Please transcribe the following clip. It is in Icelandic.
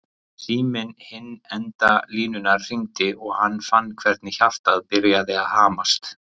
Síminn við hinn enda línunnar hringdi og hann fann hvernig hjartað byrjaði að hamast.